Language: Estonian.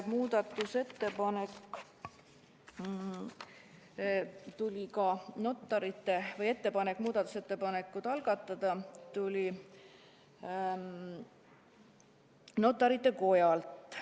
Üks ettepanek muudatusettepanek algatada tuli Notarite Kojalt.